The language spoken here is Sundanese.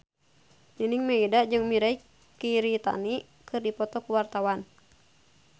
Nining Meida jeung Mirei Kiritani keur dipoto ku wartawan